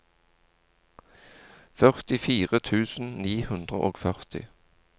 førtifire tusen ni hundre og førti